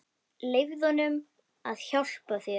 Leyfðu honum að hjálpa þér.